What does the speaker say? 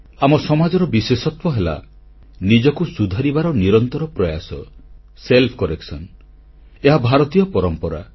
ଆମ ସମାଜର ବିଶେଷତ୍ୱ ହେଲା ନିଜକୁ ସୁଧାରିବାର ନିରନ୍ତର ପ୍ରୟାସ ସେଲ୍ଫକରେକସନ ବା ଆତ୍ମସଂସ୍କାର ଏହା ଭାରତୀୟ ପରମ୍ପରା